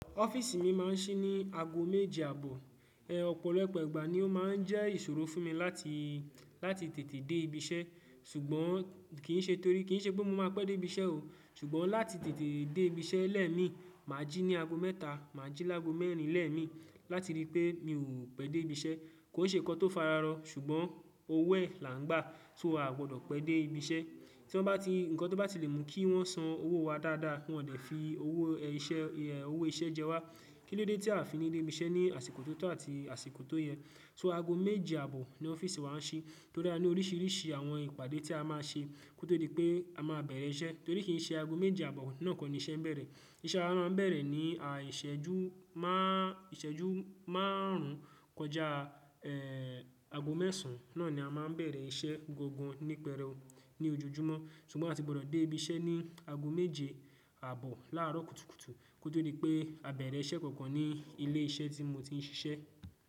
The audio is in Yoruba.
Ọ́fíìsì mi máa ń ṣí ní ago méje àbọ̀. Ọ̀pọ̀lọpọ̀ ìgbà ni ó máa ń jẹ́ ìṣòro fún mi láti, láti tètè dé ibi iṣẹ́ ṣùgbọ́n kì í ṣe torí kì í ṣe pé mo máa pẹ́ dé ibi iṣẹ́ o. Ṣùgbọ́n láti tètè dé ibi iṣẹ́ lẹ́ẹ̀ mi, mà á jí ní ago mẹ́ta, mà á jí lágo mẹ́rin lẹ́ẹ̀ mi láti rí i pé mi ò pẹ́ dé ibi iṣẹ́. Kò ṣe nǹkan tó fararọ ṣùgbọ́n owó ẹ̀ là ń gbà so aa gbọdọ̀ pẹ́ dé ibi iṣẹ́. Tí wọ́n bá ti, ǹkan tó bá ti lè mú kí wọ́n san owó wa dáadáa, wọn dẹ̀ fi owó iṣẹ́, owó iṣẹ́ jẹ wá. Kílódé tí a fi ní dé ibi iṣẹ́ ní àsìkò tó tó àti àsìkò tó yẹ. So ago méje àbọ̀ ni ọ́fíìsì wa ń ṣí torí a ní oríṣiríṣi àwọn ìpàdé tí a máa ṣe kó to dí i pé a máa bẹ̀rẹ̀ iṣẹ́. Torí kì í ṣe ago méje àbọ̀ náà kọ́ ni iṣẹ́ ń bẹ̀rẹ̀. Iṣẹ́ wa máa ń bẹ̀rẹ̀ ní, ìṣẹ́jú máà, ìṣẹ́jú márùn ún kọjá ago mẹ́sàn án. Náà ni a máa ń bẹ̀rẹ̀ iṣẹ́ gangan nípẹ̀rewu ní ojojúmọ́ ṣùgbọ́n a ti gbọdọ̀ dé ibi iṣẹ́ ní ago méje àbọ̀ láàárọ̀ kùtùkùtù kó tó dí i pé a bẹ̀rẹ̀ iṣẹ́ kankan ní ilé iṣẹ́ tí mo ti ń ṣiṣẹ́.